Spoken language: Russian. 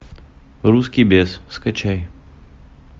русский бес скачай